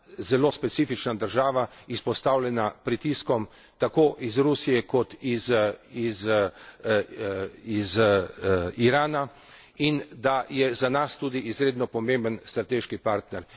zelo specifična država, izpostavljena pritiskom tako iz Rusije kot iz Irana, in da je za nas tudi izredno pomemben strateški partner.